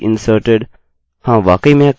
यह पहले से ही limit कमांड में लिखा गया है